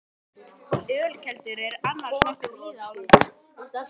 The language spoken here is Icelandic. Ölkeldur eru annars nokkuð víða á landinu.